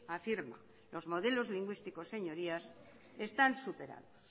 afirma que los modelos lingüísticos están superados